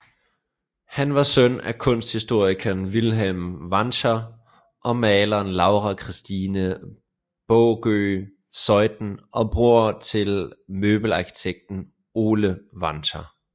Han var søn af kunsthistorikeren Vilhelm Wanscher og maleren Laura Kirstine Baagøe Zeuthen og bror til møbelarkitekten Ole Wanscher